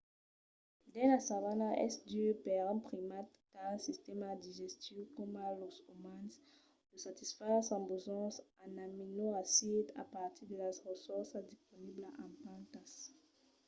dins la savana es dur per un primat qu'a un sistèma digestiu coma los umans de satisfar sos besonhs en aminoacids a partir de las ressorças disponiblas en plantas